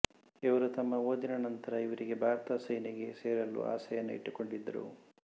ಇವರು ತಮ್ಮ ಓದಿನ ನಂತರ ಇವರಿಗೆ ಭಾರತದ ಸೇನೆಗೆ ಸೇರಲು ಆಸೆಯನ್ನು ಇಟ್ಟುಕೊಂಡಿದ್ದರು